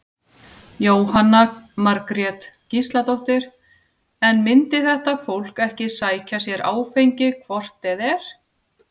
Jóhanna Margrét Gísladóttir: En myndi þetta fólk ekki sækja sér áfengi hvort eð er?